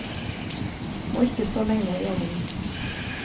Må ikke stå lenge i ovnen.